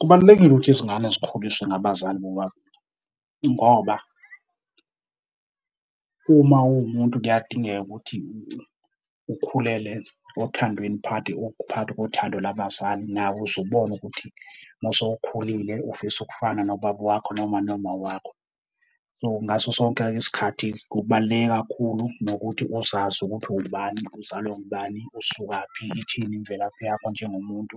Kubalulekile ukuthi izingane zikhuliswe ngabazali bobabili ngoba uma uwumuntu kuyadingeka ukuthi ukhulele othandweni, phakathi phakathi kothando labazali nawe uze ubone ukuthi mosowukhulile ufisa ukufana nobaba wakho noma, noma wakho. So ngaso sonke isikhathi kubaluleke kakhulu nokuthi uzazi ukuthi uwubani, uzalwa ngubani, usukaphi, ithini imvelaphi yakho njengomuntu.